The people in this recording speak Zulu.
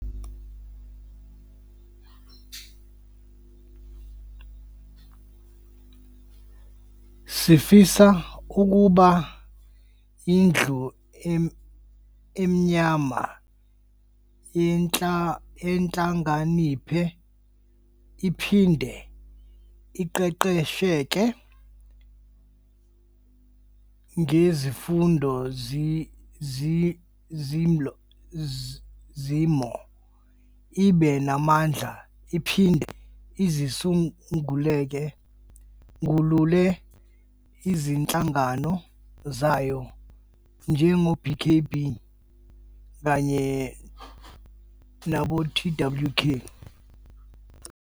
Sifisa ukuba indlu emnyama yehlakaniphe iphinde iqeqesheke ngezifundo zolimo ibe namandla iphinde izisungulele izinhlangano zayo njengo BKB kanye nobo TWK.